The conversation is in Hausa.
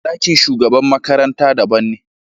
Ɗakin shugaban makaranta daban ne.